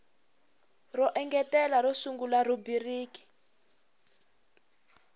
ro engetela ro sungula rhubiriki